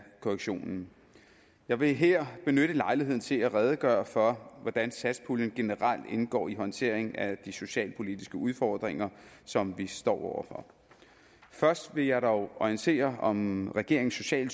korrektionen jeg vil her benytte lejligheden til at redegøre for hvordan satspuljen generelt indgår i håndteringen af de socialpolitiske udfordringer som vi står over for først vil jeg dog orientere om regeringens sociale